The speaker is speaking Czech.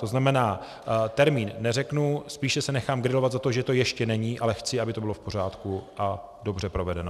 To znamená, termín neřeknu, spíše se nechám grilovat za to, že to ještě není, ale chci, aby to bylo v pořádku a dobře provedeno.